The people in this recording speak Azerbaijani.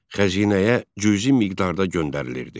Xəzinəyə cüzi miqdarda göndərilirdi.